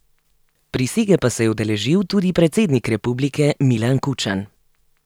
Prisege pa se je udeležil tudi predsednik republike Milan Kučan.